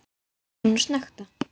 Svo fór hann að snökta.